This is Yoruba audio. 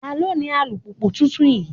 Ta ló ní alùpùpù tuntun yìí?